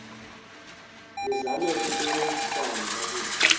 nizame ukusebenzisana kakuhle